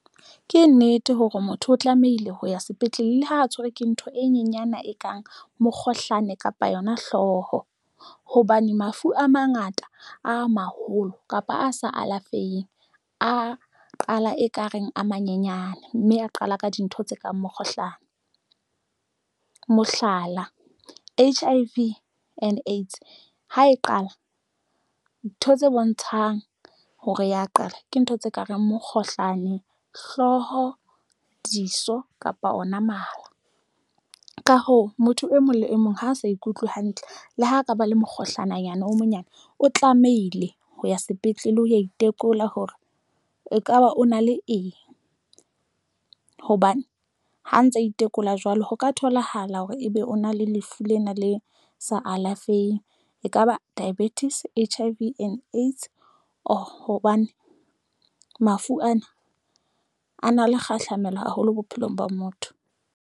Ke nnete hore motho o tlamehile ho ya sepetlele, le ha tshwerwe ke ntho e nyenyana e kang mokgohlane kapa yona hloho hobane mafu a mangata a maholo kapa a sa alafeha, a qala ekareng a manyenyane mme a qala ka dintho tse kang mokgohlane, mohlala, H_I_V and AIDS ha e qala ntho tse bontshang hore ya qala ke ntho tse kareng mokgohlane hlooho, diso kapa ona mala. Ka hoo, motho e mong le e mong ha a sa ikutlwe hantle, le ho ka ba le mokgohlane hanyane o monyane o tlamehile ho ya sepetlele hoya. Itekola hore ekaba o na le eng hobane mme ha ntsa itekola jwalo, ho ka tholahala hore ebe o na le lefu lena le sa alafeheng ekaba diabetics H_I_V and AIDS or hobane mafu ana a na le kgahlamelo haholo bophelong ba motho.